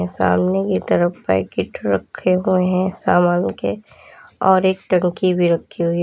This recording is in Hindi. सामने की तरफ पैकेट रखे हुए हैं सामान के और एक टंकी भी रखी हुई है।